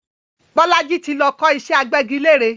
Bolaji tí lọ kọ́ ìṣẹ́ agbẹ́gilére